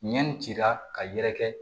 Ɲɛni cira ka yɛrɛkɛ